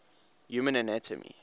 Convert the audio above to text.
human anatomy